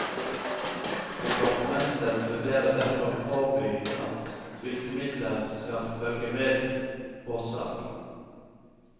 Departementet vurderer derfor å påby at flytemidler skal følge med ved båtsalg.